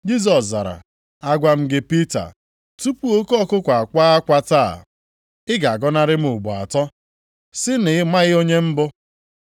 Jisọs zara, “Agwa m gị Pita, tupu oke ọkụkụ akwaa akwa taa, ị ga-agọnarị m ugboro atọ, si na ị maghị onye m bụ.”